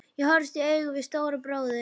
Ég horfðist í augu við Stóra bróður.